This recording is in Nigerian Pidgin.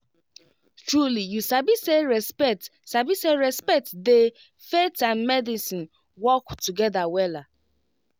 trulyyou sabi say respect sabi say respect dey faith and medice work together wella